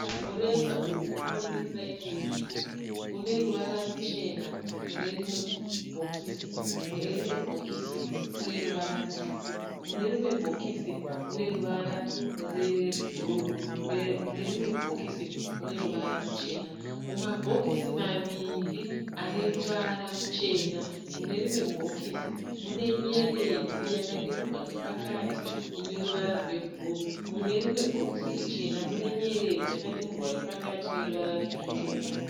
Mureza uyu unomirira imwe nyika. Une ruvara ruchena mune rimwe bhokisi. Mune rimwe bhokisi une ruvara rutsvuku. Mune rimwe bhokisi une ruvara rebhuruu. Mune rimwe bhokisi une ruvara ruchena. Mumabhokisi maviri ane ruvara ruchena, mune rimwe bhokisi mune nyeredzi yakadimburwa nepakati ine ruvara rwebhuruu. Mune rimwe bhokisi richena mune nyeredzi yakadimburwa nepakati ine ruvara rutsvuku.